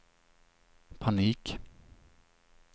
panik